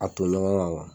A to ɲɔgɔn kan kuwa